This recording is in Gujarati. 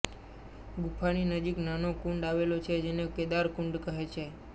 ગુફાની નજીક નાનો કુંડ આવેલો છે જેને કેદાર કુંડ કહે છે